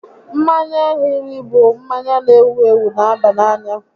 Mmanya hiri bụ mmanya n'ewu ewu n'aba n'anya